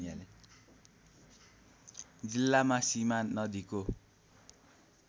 जिल्लामा सीमा नदीको